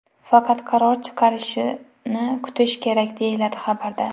Faqat qaror chiqishini kutish kerak, deyiladi xabarda.